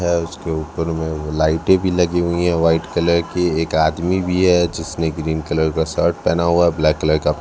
उसके ऊपर में लाइटें भी लगी हुई है। वाइट कलर की एक आदमी भी है जिसने ग्रीन कलर का शर्ट पहना हुआ है। ब्लैक कलर का--